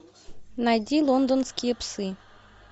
найди лондонские псы